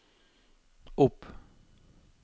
opp